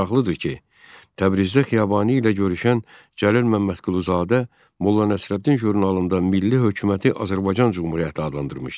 Maraqlıdır ki, Təbrizdə Xiyabani ilə görüşən Cəlil Məmmədquluzadə Molla Nəsrəddin jurnalında milli hökuməti Azərbaycan Cümhuriyyəti adlandırmışdı.